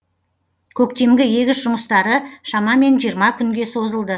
көктемгі егіс жұмыстары шамамен жиырма күнге созылды